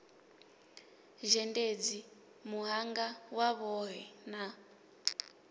zhendedzi muhanga wa vhohe na